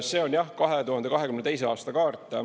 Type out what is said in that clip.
See on jah, 2022. aasta kaart.